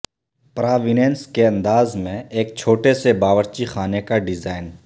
پراوننس کے انداز میں ایک چھوٹے سے باورچی خانے کا ڈیزائن